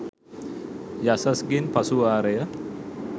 යසස් ගෙන් පසු වාරය